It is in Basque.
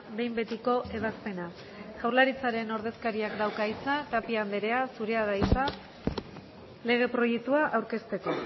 behin betiko ebazpena jaurlaritzaren ordezkariak dauka hitza tapia anderea zurea da hitza lege proiektua aurkezteko